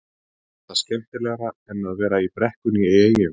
Var þetta skemmtilegra en að vera í brekkunni í Eyjum?